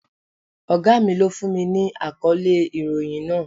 Ògá mi lọ fún mi ní àkọ́lé ìròhìn náà.